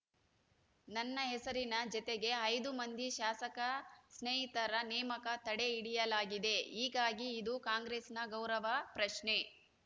ನನ್ನ ಹೆಸರಿನ ಜತೆಗೆ ಐದು ಮಂದಿ ಶಾಸಕ ಸ್ನೇಹಿತರ ನೇಮಕ ತಡೆ ಹಿಡಿಯಲಾಗಿದೆ ಹೀಗಾಗಿ ಇದು ಕಾಂಗ್ರೆಸ್‌ನ ಗೌರವ ಪ್ರಶ್ನೆ